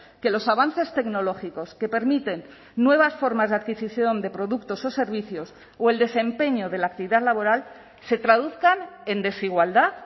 que los avances tecnológicos que permiten nuevas formas de adquisición de productos o servicios o el desempeño de la actividad laboral se traduzcan en desigualdad